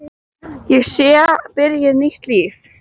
Að ég sé byrjuð nýtt líf.